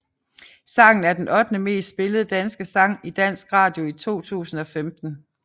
Sangen var den ottende mest spillede danske sang i dansk radio i 2015